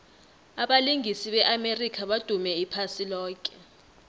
abalingisi be amerika badume iphasi loke